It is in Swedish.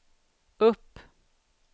upp